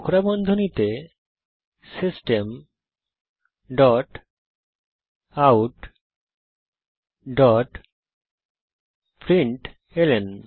কোঁকড়া বন্ধনীতে system dot out dot println